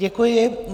Děkuji.